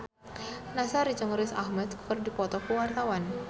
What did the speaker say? Nassar jeung Riz Ahmed keur dipoto ku wartawan